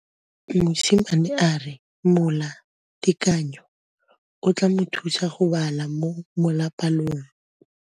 Mosimane a re molatekanyô o tla mo thusa go bala mo molapalong.